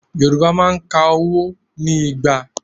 Yorùbá máa ń ka owó ní Igba.